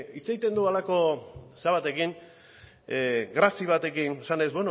hitz egiten duen halako zera batekin grazia batekin esanez